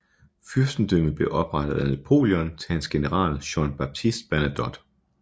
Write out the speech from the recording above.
Fyrstendømmet blev oprettet af Napoleon til hans general Jean Baptiste Bernadotte